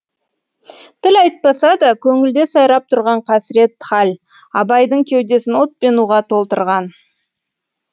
тіл айтпаса да көңілде сайрап тұрған қасірет хал абайдың кеудесін от пен уға толтырған